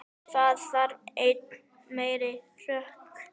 Það þarf enn meiri hörku!